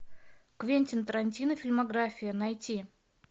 квентин тарантино фильмография найти